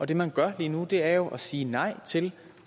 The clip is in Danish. det man gør lige nu er jo at sige nej til